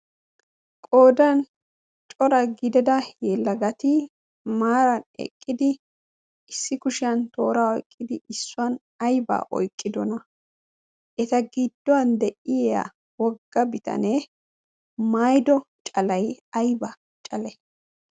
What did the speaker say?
qodan cora gidada yeellagati maaran eqqidi issi kushiyan tooraa oiqqidi issuwan aybaa oyqqidona. eta gidduwan deyiya wogga bitanee maydo calay ayba cale?